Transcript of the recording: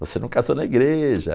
Você não casou na igreja.